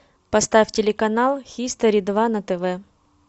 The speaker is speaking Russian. поставь телеканал хистори два на тв